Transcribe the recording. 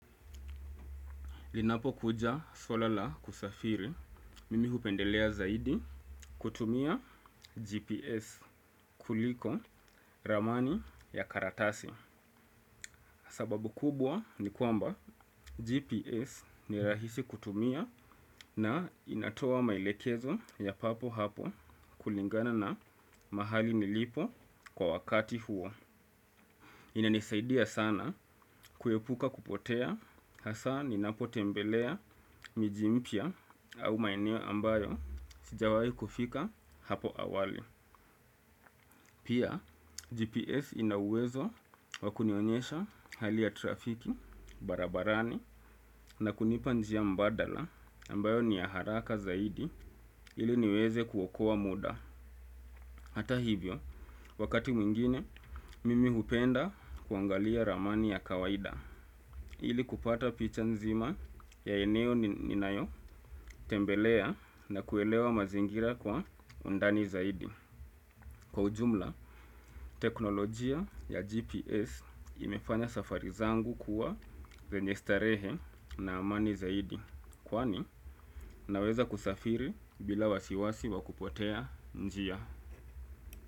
Inapo kuja swala la usafiri mimi hupendelea zaidi kutumia GPS kuliko ramani ya karatasi sababu kubwa ni kwamba GPS ni rahisi kutumia na inatoa maelekezo ya papo hapo kulingana na mahali nilipo kwa wakati huo inanisaidia sana kuepuka kupotea hasa ninapotembelea miji mpya au maeneo ambayo sijawai kufika hapo awali. Pia GPS ina uwezo wakunionyesha hali ya trafiki barabarani na kunipa njia mbadala ambayo ni ya haraka zaidi ili niweze kuokoa muda. Hata hivyo, wakati mwingine, mimi hupenda kuangalia ramani ya kawaida ili kupata picha nzima ya eneo ninayo tembelea na kuelewa mazingira kwa undani zaidi kwa ujumla, teknolojia ya GPS imefanya safari zangu kuwa zenye starehe na amani zaidi kwani, naweza kusafiri bila wasiwasi wa kupotea njia.